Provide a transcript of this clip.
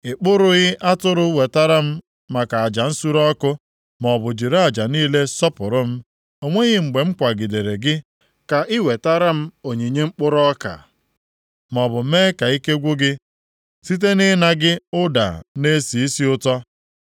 I kpụrụghị atụrụ wetara m maka aja nsure ọkụ, maọbụ jiri aja niile sọpụrụ m. O nweghị mgbe m kwagidere gị ka i wetara m onyinye mkpụrụ ọka, maọbụ mee ka ike gwụ gị site nʼịna gị ụda na-esi isi ụtọ.